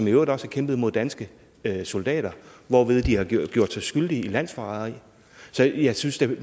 øvrigt også kæmpe mod danske soldater hvorved de har gjort gjort sig skyldige i landsforræderi så jeg synes da